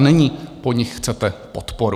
A nyní po nich chcete podporu.